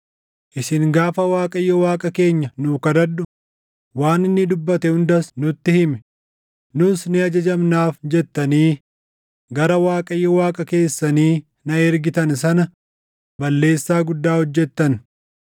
Isin gaafa ‘ Waaqayyo Waaqa keenya nuu kadhadhu; waan inni dubbate hundas nutti himi; nus ni ajajamnaaf’ jettanii gara Waaqayyo Waaqa keessanii na ergitan sana balleessaa guddaa hojjettan.